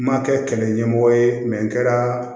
N ma kɛ kɛlɛ ɲɛmɔgɔ ye n kɛra